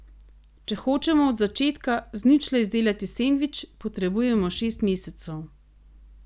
Če hočemo od začetka, z ničle izdelati sendvič, potrebujemo šest mesecev.